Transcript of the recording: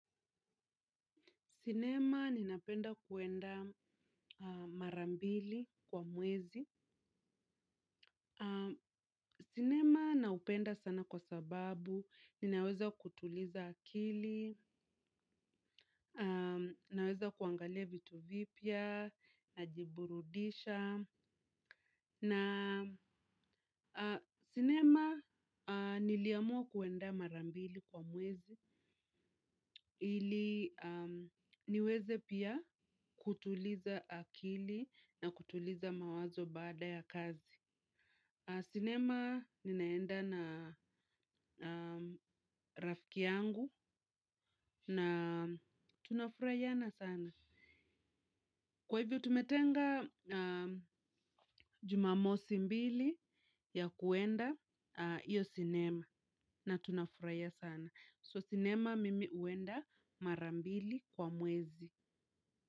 Sinema, ninapenda kuenda marambili kwa mwezi. Sinema, naupenda sana kwa sababu, ninaweza kutuliza akili, naweza kuangalia vitu vipya, najiburudisha. Na sinema niliamua kuenda marambili kwa mwezi ili niweze pia kutuliza akili na kutuliza mawazo baada ya kazi. Sinema ninaenda na rafiki yangu na tunafurahiana sana. Kwa hivyo tumetenga jumamosi mbili ya kuenda iyo sinema na tunafuraia sana. So sinema mimi uenda marambili kwa mwezi.